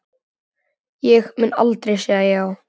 Ég mun aldrei segja já.